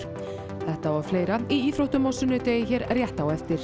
þetta og fleira í íþróttum á sunnudegi hér rétt á eftir